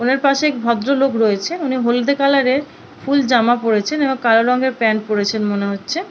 ওনার পাশে এক ভদ্র লোক রয়েছে উনি হলদে কালার এর ফুল জামা পড়েছেন এবং কালো রঙের প্যান্ট পড়েছেন মনে হচ্ছে।